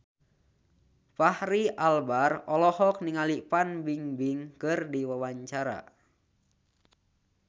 Fachri Albar olohok ningali Fan Bingbing keur diwawancara